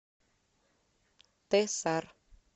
тесар